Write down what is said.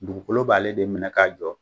Dugukolo b'ale de minɛ k'a jɔ.